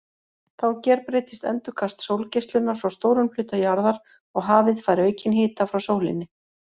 Þá gerbreytist endurkast sólgeislunar frá stórum hluta jarðar og hafið fær aukinn hita frá sólinni.